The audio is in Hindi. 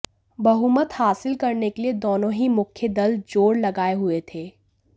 बहुमत हासिल करने के लिए दोनों ही मुख्य दल जोर लगाए हुए थे